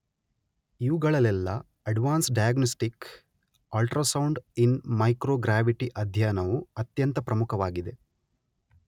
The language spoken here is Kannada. ಇವುಗಳಲೆಲ್ಲ advanced diagnostic ultrasound in microgravity ಅಧ್ಯಯನವು ಅತ್ಯಂತ ಪ್ರಮುಖವಾಗಿದೆ.